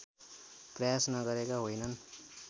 प्रयास नगरेका होइनन्